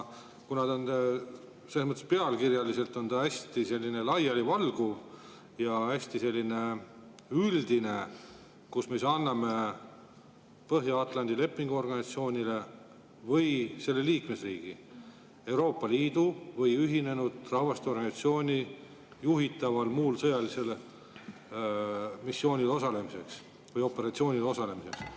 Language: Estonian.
Ta on pealkirja mõttes hästi laialivalguv ja hästi üldine, me anname Põhja-Atlandi Lepingu Organisatsiooni või selle liikmesriigi, Euroopa Liidu või Ühinenud Rahvaste Organisatsiooni juhitaval muul sõjalisel missioonil osalemiseks, operatsioonil osalemiseks.